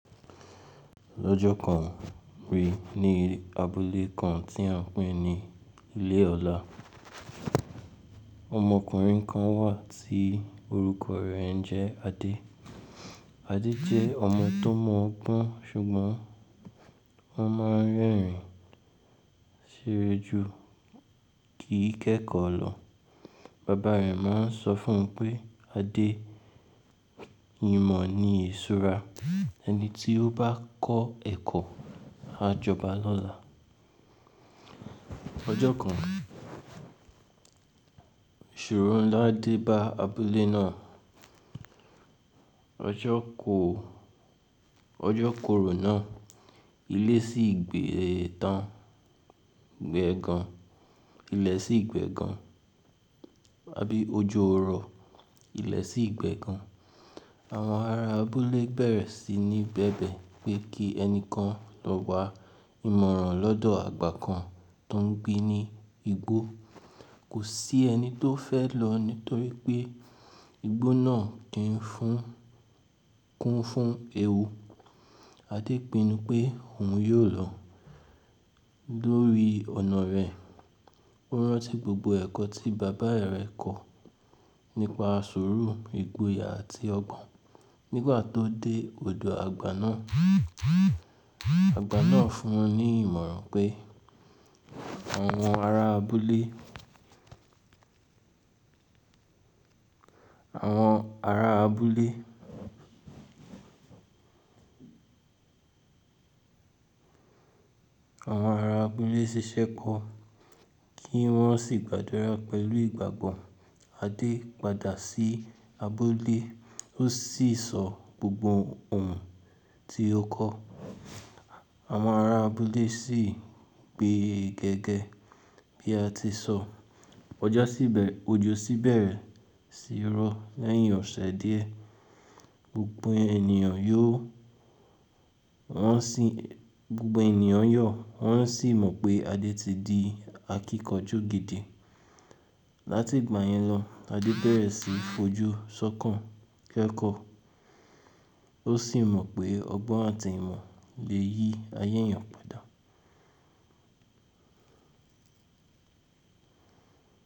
Lọ́jọ́ kan, rí ní abúlé kan tí a ń pè ní Ilé ọ̀la. Ọmọkùnrin kan wà tí orúkọ rẹ̀ ńjẹ́ Adé. Adé jẹ́ ọmọ tó mọgbọ́n ṣùgbọ́n wọ́n máa ń rẹ́rìn-ín ṣeré ju kí í kẹ́kọ̀ọ́ lọ. Bàbá rẹ̀ máa ń sọ fún un pé, "Adé, ìmọ̀ ni iṣura, ẹni tí ó bá kọ́ ẹ̀kọ́ a jọba lọ́la." Ọjọ́ kan, ìṣòro ńlá dé bá abúlé náà. Ọjọ́ ko-- ọjọ́ korò náà, ilẹ̀ sì gbe tán, gbẹ gan. Ilẹ̀ sì gbe gan, àbí ojo ọ̀ rọ̀, ilẹ̀ sì gbe gan. Àwọn ará abúlé bẹ̀rẹ̀ sí ní bẹ̀bẹ̀ pé kí ẹni kan lọ wá ìmọ̀ràn lọ́dọ̀ àgbà kan tó ń gbé ní igbó. Kò sí ẹni tó fẹ́ lọ nítorí pé igbó náà kì ń fún-- kún fún ewu. Adé pinnu pé òun yóò lọ. Lórí ọ̀nà rẹ̀, ó rántí gbogbo ẹ̀kọ́ tí bàbá rẹ̀ kọ́ nípa sùúrù, ìgboyà àti ọgbọ́n. Nígbà tó dé odò àgbà náà, àgbà náà fún un ní ìmọ̀ràn pé, àwọn ará abúlé, àwọn ará abúlé, àwọn ará abúlé ṣiṣẹ́ kọ, kí wọ́n sì gbàdúrà pẹ̀lú ìgbàgbọ́. Adé padà sí abúlé, ó sì sọ gbogbo ohun tí ó kọ́. Àwọn ará abúlé sì gbe gẹ́gẹ́ bí a ti sọ. Ọjọ́ sì bẹ̀rẹ̀, ojú sì bẹ̀rẹ̀ sì rọ̀ lẹ́yìn ọ̀sẹ̀ díẹ̀. Gbogbo ènìyàn yóò, wọ́n sì, gbogbo ènìyàn yọ̀, wọ́n sì mọ̀ pé Adé ti di akíkanjú gidi. Láti ìgbà yẹn lọ, Adé bẹ̀rẹ̀ sí í fojú sọ́kàn kẹ́kọ̀ọ́. Ó sì mọ̀ pé ọgbọ́n àti ìmọ̀ lè yí ayé èèyàn padà.